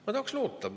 Ma tahan loota.